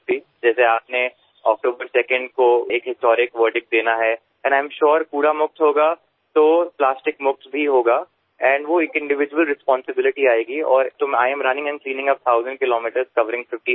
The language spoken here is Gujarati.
જેવી રીતે આપે 2 ઑક્ટોબરને એક ઐતિહાસિક ચુકાદો આપવાનો છે અને મને ખાતરી છે કે કચરા મુક્ત થશે તો પ્લાસ્ટિક મુક્ત પણ થશે અને તે એક વ્યક્તિગત જવાબદારી આવશે અને તેથી I am running and cleaning up thousand kilometre covering 50 cities